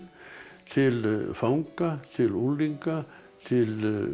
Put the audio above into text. til fanga til unglinga til